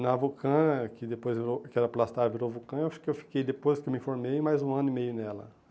Na Vulcã, que depois eu que era Plastar, virou Vulcã, eu acho que eu fiquei, depois que eu me formei, mais um ano e meio nela.